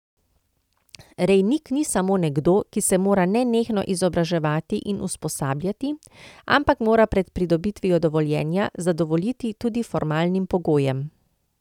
Rejnik ni samo nekdo, ki se mora nenehno izobraževati in usposabljati, ampak mora pred pridobitvijo dovoljenja zadovoljiti tudi formalnim pogojem.